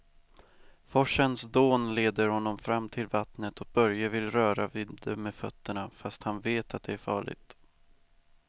Forsens dån leder honom fram till vattnet och Börje vill röra vid det med fötterna, fast han vet att det är farligt.